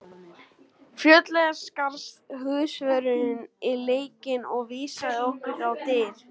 Fljótlega skarst húsvörðurinn í leikinn og vísaði okkur á dyr.